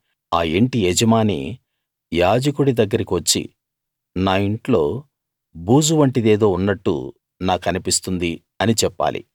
ఆ యింటి యజమాని యాజకుడి దగ్గరికి వచ్చి నా ఇంట్లో బూజు వంటిదేదో ఉన్నట్టు నాకన్పిస్తుంది అని చెప్పాలి